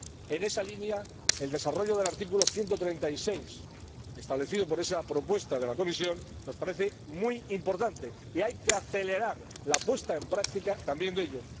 En esa línea, el desarrollo del artículo 136 del TFUE, establecido por esa propuesta de la Comisión, nos parece muy importante y hay que acelerar la puesta en práctica también de ello.